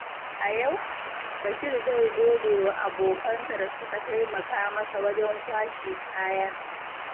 A yau, Bashir zai gode wa abokansa da suka taimaka masa wajen kwashe kaya.